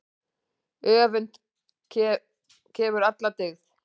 Öfund kefur alla dyggð.